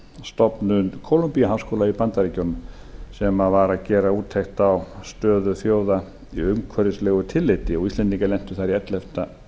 stofnun kólombíu háskóla í bandaríkjunum sem var að gera úttekt á stöðu þjóða í umhverfislegu tilliti og íslendingar lentu þar í ellefta